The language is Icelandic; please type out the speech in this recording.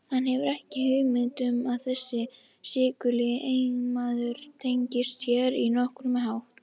Hann hefur ekki hugmynd um að þessi svikuli eiginmaður tengist sér á nokkurn hátt.